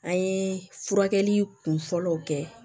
An ye furakɛli kunfɔlɔw kɛ